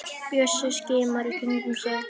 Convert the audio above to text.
Bjössi skimar í kringum sig.